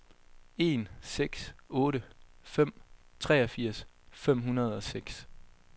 en seks otte fem treogfirs fem hundrede og seks